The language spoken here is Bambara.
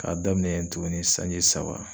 K'a daminɛ tuguni sanji saba